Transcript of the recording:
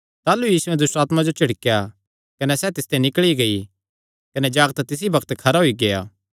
ताह़लू यीशुयैं दुष्टआत्मां जो झिड़केया कने सैह़ तिसते निकल़ी गेई कने जागत तिसी बग्त खरा होई गेआ